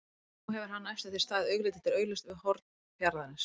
Nú hefur hann næstum því staðið augliti til auglitis við norn fjarðarins.